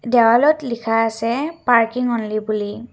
দেৱালত লিখা আছে পাৰ্কিং অনলি বুলি।